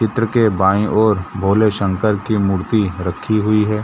चित्र के बाईं ओर भोले शंकर की मूर्ति रखी हुई हैं।